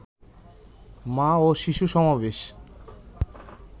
মা ও শিশু সমাবেশ